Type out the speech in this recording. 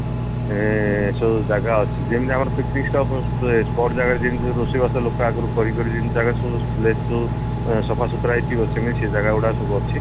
ଏ ସେ ଜାଗା ଅଛି ଯେମତି ଆମର picnic spot ଏ spot ଜାଗାରେ ଯେମତି ଲୋକ ଆଗରୁ କରିକି ଜାଗା ସବୁ place ସବୁ ସଫାସୁତୁରା ହେଇ ଥିବ ସେମିତି ସେ ଗୁଡା ସବୁ ଅଛି